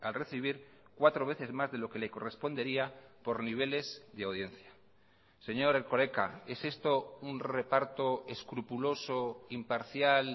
recibir cuatro veces más de lo que le correspondería por niveles de audiencia señor erkoreka es esto un reparto escrupuloso imparcial